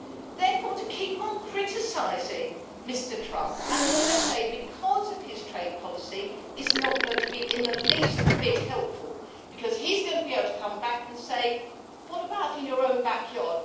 Therefore, to keep criticising Mr Trump and the USA because of his trade policy is not going to be in the least bit helpful, because he's going to be able to come back and say What about in your own backyard?